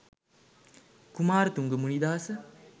kumarathunga munidasa